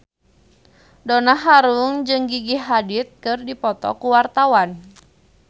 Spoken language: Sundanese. Donna Harun jeung Gigi Hadid keur dipoto ku wartawan